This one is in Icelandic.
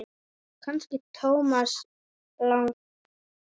Kannski Thomas Lang?